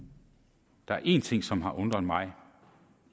der er en ting som har undret mig